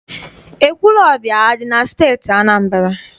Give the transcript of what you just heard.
Ekwulọọbịa adị na Steeti Anambra?